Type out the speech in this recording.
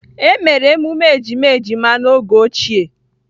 Emere emume ejima ejima n'oge ochie